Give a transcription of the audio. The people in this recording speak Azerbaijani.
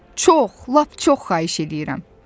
Çox, lap çox xahiş eləyirəm.